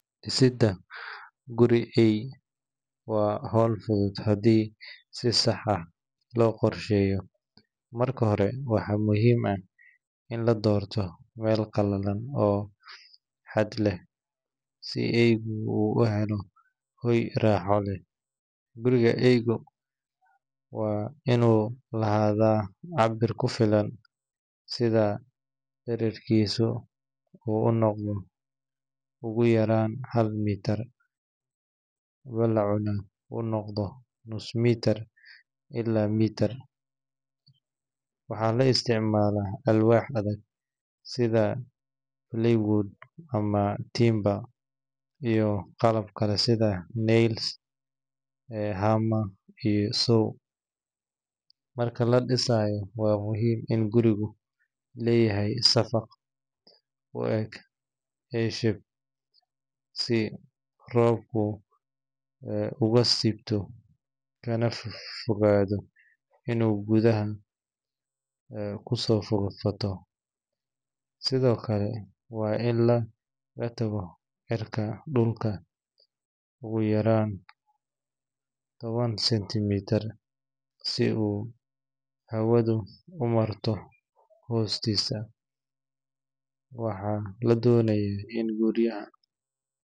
Dhisidda guri eey waa hawl fudud haddii si sax ah loo qorsheeyo. Marka hore, waxaa muhiim ah in la doorto meel qalalan oo hadh leh, si eeygu u helo hoy raaxo leh. Guriga eeyga waa inuu lahaadaa cabbir ku filan, sida dhererkiisu uu noqdo ugu yaraan hal mitir, ballacuna uu noqdo nus mitir ilaa mitir. Waxaa la isticmaalaa alwaax adag sida plywood ama timber, iyo qalab kale sida nails, hammer, iyo saw. Marka la dhisayo, waa muhiim in gurigu leeyahay saqaf u eg A-shape si roobku uga siibto, kana fogaado inuu gudaha ku soo fataho. Sidoo kale, waa in laga taago cirka dhulka, ugu yaraan toban senti mitir, si uu hawadu u maro hoostiisa. Waxaa la doonayaa in gudaha.